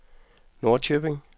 Norrköping